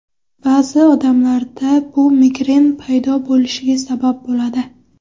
Ba’zi odamlarda bu migren paydo bo‘lishiga sabab bo‘ladi.